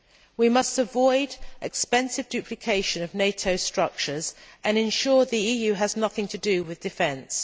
We must avoid expensive duplication of NATO structures and ensure that the EU has nothing to do with defence.